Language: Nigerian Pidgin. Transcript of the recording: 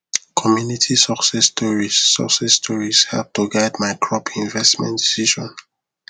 community success stories success stories help to guide my crop investment decision